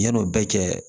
Yan'o bɛɛ cɛ